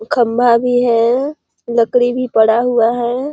खंभा भी हैं लकड़ी भी पड़ा हुआ हैं।